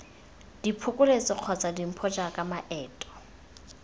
diphokoletso kgotsa dimpho jaaka maeto